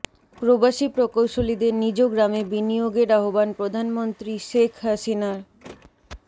প্রবাসী প্রকৌশলীদের নিজ গ্রামে বিনিয়োগের আহ্বান প্রধানমন্ত্রী শেখ হাসিনার